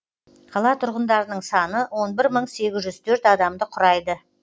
қала тұрғындарының саны он бір мың сегіз жүз төрт адамды құрайды